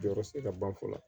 Jɔyɔrɔ se ka ban fɔlɔ